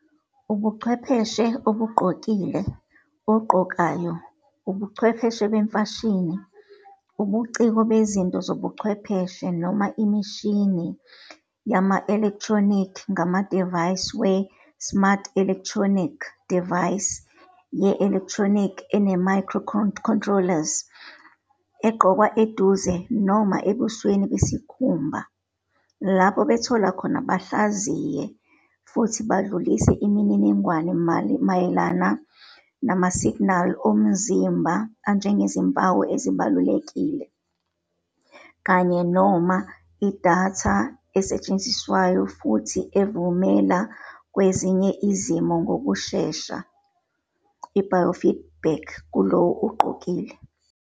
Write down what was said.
Ubuchwepheshe obugqokile, ogqokayo, ubuchwepheshe bemfashini, ubuciko bezinto zobuchwepheshe, noma imishini yama-elekthronikhi ngamadivayisi we-elekthronikhi smart, idivaysi ye-elekthronikhi ene-micro-controlers, egqoke eduze noma, noma ebusweni besikhumba, lapho bethola khona, bahlaziye, futhi bedlulise imininingwane mayelana isib amasignali womzimba anjengezimpawu ezibalulekile, kanye-noma idatha esetshenziswayo futhi evumela kwezinye izimo ngokushesha i-biofeedback kulowo ogqokile